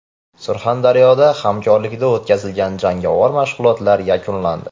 Surxondaryoda hamkorlikda o‘tkazilgan jangovar mashg‘ulotlar yakunlandi.